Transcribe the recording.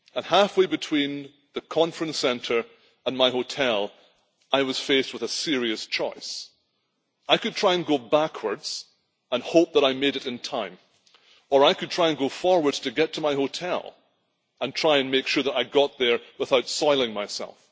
Halfway between the conference centre and my hotel I was faced with a serious choice I could try and go backwards and hope that I made it in time or I could try to go forwards to get to my hotel and try to make sure that I got there without soiling myself.